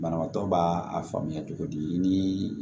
Banabaatɔ b'a a faamuya cogo di ni